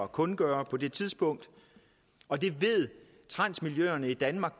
kundgøre på det tidspunkt og transmiljøerne i danmark